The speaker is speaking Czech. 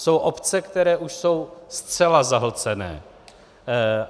Jsou obce, které už jsou zcela zahlcené.